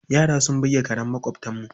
Yara sun buge karen maƙwabtanmu.